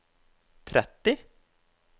tretti